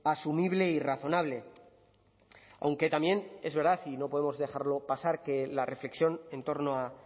asumible y razonable aunque también es verdad y no podemos dejarlo pasar que la reflexión en torno a